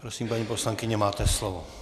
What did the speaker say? Prosím, paní poslankyně, máte slovo.